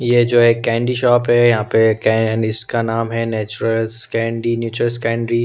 ये जो हैं एक कैंडी शॉप हैं यहाँ पे इसका नाम हैं नेचुरल्स कैंडी नेचर्स कैंडी --